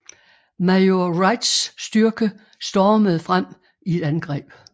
Major Wrights styrke stormede frem i et angreb